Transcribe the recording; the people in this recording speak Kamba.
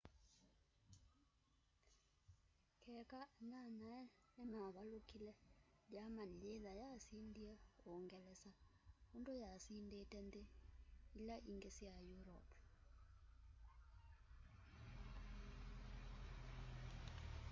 keka anyanyae nimavalukile germany yithwa yasindie uungelesa undu yasindite nthi ila ingi sya europe